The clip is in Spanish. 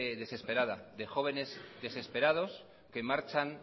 desesperada de jóvenes desesperados que marchan